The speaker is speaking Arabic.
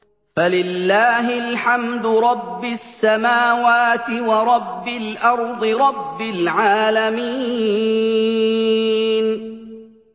فَلِلَّهِ الْحَمْدُ رَبِّ السَّمَاوَاتِ وَرَبِّ الْأَرْضِ رَبِّ الْعَالَمِينَ